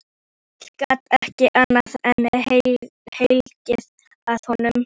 Emil gat ekki annað en hlegið að honum.